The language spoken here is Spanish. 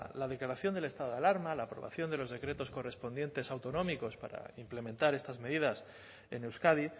la declaración del estado de alarma la aprobación de los decretos correspondientes autonómicos para implementar estas medidas en euskadi